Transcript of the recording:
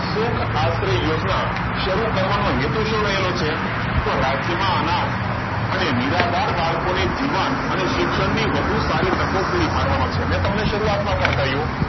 સૂખ આત્રે યોજના શરૂ કરવાનો હેતુ શું રહેલો છે તો રાજ્યમાં અનાર્થ અને નિરાધાર બાળકોને જીવંત અને શિક્ષણની વધુ સારી તકો પૂરી પાડવાનો છે મેં તમને શરૂઆતમાં પણ કહ્યું